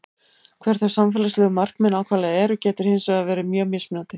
Hver þau samfélagslegu markmið nákvæmlega eru getur hins vegar verið mjög mismunandi.